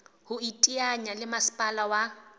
ho iteanya le masepala wa